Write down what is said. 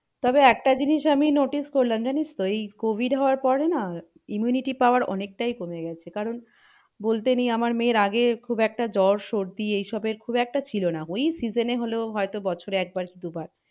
তবে একটা জিনিস আমি notice করলাম জানিস তো এই covid হওয়ার পরে না immunity power অনেকটাই কমে গেছে কারন বলতে নেই আমার মেয়ের আগে খুব একটা জ্বর সর্দি এই সবের খুব একটা ছিল না ওই season হলো হয়তো বছরে একবার কি দুবার